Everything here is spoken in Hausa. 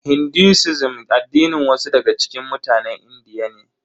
Hinduism addinin wasu daga cikin mutanen Indiya ne.